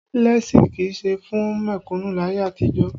Léèsì kì í ṣe fún mẹ̀kùnnú láyé àtijọ́